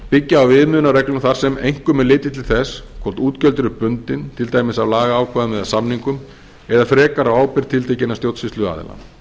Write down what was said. byggja á viðmiðunarreglum þar sem einkum er litið til þess hvort útgjöld eru bundin til dæmis af lagaákvæðum eða samningum eða frekar á ábyrgð tiltekins stjórnsýsluaðila